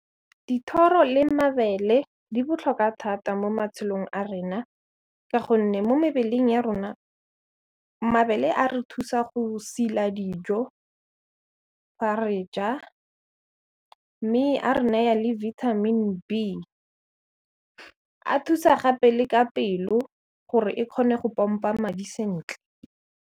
Dithoro le mabele di botlhokwa thata mo matshelong a rena ka gonne mo mebeleng ya rona mabele a re thusa go sila dijo fa re ja, mme a re naya le vitamin B, a thusa gape le ka pelo gore e kgone go pompa madi sentle.